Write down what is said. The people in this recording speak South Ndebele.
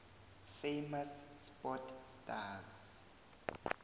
famous sport stars